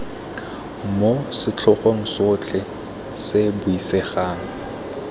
moo setlhogo sotlhe se buisegang